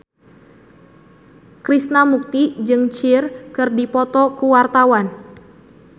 Krishna Mukti jeung Cher keur dipoto ku wartawan